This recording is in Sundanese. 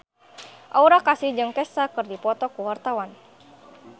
Aura Kasih jeung Kesha keur dipoto ku wartawan